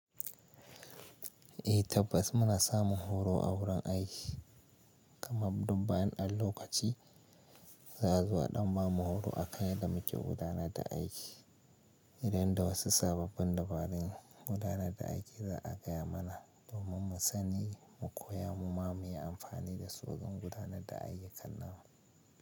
Eh tabbas muna samun horo a wurin aiki, kaman duk bayan ɗan lokaci za a zo a ɗan ba mu horo a kan yadda muke gudanar da aiki. Idan da wasu sababbin dabarun gudanar da aiki za a gaya mana domin mu sani mu koya mu ma muyi amfani da su don gudanar da ayyukan namu.